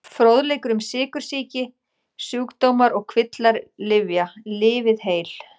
Fróðleikur um sykursýki Sjúkdómar og kvillar Lyfja- Lifið heil.